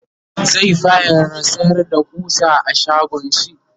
zai fara sayar da ƙusa a shagonshi